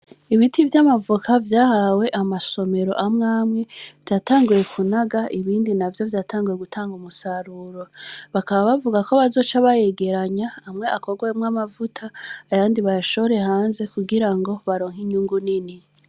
Ibiti vy’amavoka vyahawe amasomero amwe amwe, vyatanguye kunaga, ibindi navyo vyatanguye gutanga umusaruro; bakaba bavuga ko bazoca bayegeranya, amwe akorwemwo amavuta, ayandi bayashore hanze kugira ngo baronke inyungu nini.